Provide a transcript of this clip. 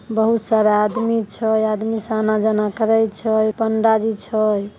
बहुत सारा आदमी छय आदमी स आना जाना करय छय पंडा जी छय--